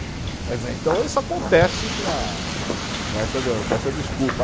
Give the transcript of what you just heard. Quer dizer, então isso acontece com a, com essa de, com essa desculpa.